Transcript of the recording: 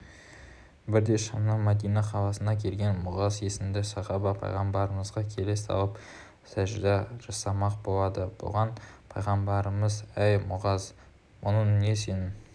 бірде шамнан мәдина қаласына келген муғаз есімді сахаба пайғамбарымызға келе салып сәжде жасамақ болады бұған пайғамбарымыз әй мұғаз бұның не сенің